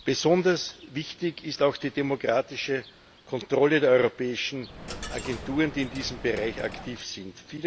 Besonders wichtig ist auch die demokratische Kontrolle der europäischen Agenturen, die in diesem Bereich aktiv sind.